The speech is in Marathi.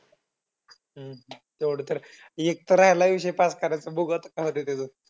हम्म तेवढं तर आहे. एक तर राहिलाय विषय pass करायचा. आता बघू आता काय होतंय त्याचं.